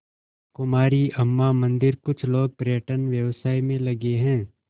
कुमारी अम्मा मंदिरकुछ लोग पर्यटन व्यवसाय में लगे हैं